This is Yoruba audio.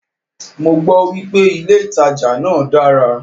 Mọ gbọ́ wípé ilé ìtajà náà dára.